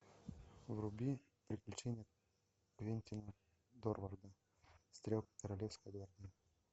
вруби приключения квентина дорварда стрелка королевской гвардии